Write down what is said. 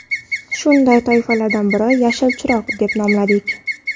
Shunday toifalardan birini ‘Yashil chiroq’ deb nomladik.